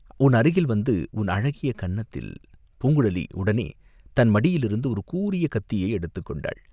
உன் அருகில் வந்து உன் அழகிய கன்னத்தில், பூங்குழலி உடனே தன் மடியிலிருந்து ஒரு கூரிய கத்தியை எடுத்துக்கொண்டாள்.